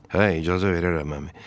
Hə, icazə verərəm, əmi.